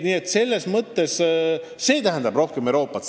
Seegi tähendab rohkem Euroopat.